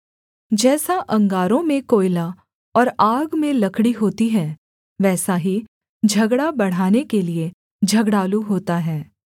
जैसा अंगारों में कोयला और आग में लकड़ी होती है वैसा ही झगड़ा बढ़ाने के लिये झगड़ालू होता है